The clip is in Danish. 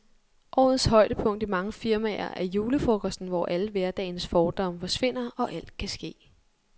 Årets højdepunkt i mange firmaer er julefrokosten, hvor alle hverdagens fordomme forsvinder, og alt kan ske.